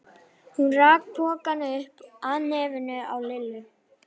Hún rak pokann upp að nefinu á Lillu.